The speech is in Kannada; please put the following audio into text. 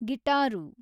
ಗಿಟಾರು